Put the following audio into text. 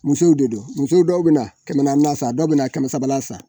Musow de don muso dɔw bɛ na kɛmɛ naanna sa dɔw bɛ na kɛmɛ sabala sa.